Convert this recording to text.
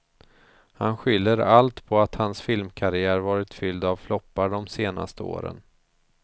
Han skyller allt på att hans filmkarriär varit fylld av floppar de senaste åren.